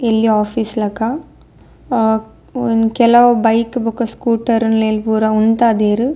ಎಲ್ಲ್ಯ ಓಫೀಸ್ ಲಕ ಅಹ್ ಒ ಕೆಲವು ಬೈಕ್ ಬೊಕ್ಕ ಸ್ಕೂಟರ್ಲೆನ್ ಪೂರ ಉಂತದೆರ್.